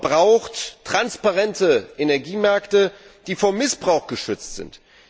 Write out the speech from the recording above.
Europa braucht transparente Energiemärkte, die vor Missbrauch geschützt sind.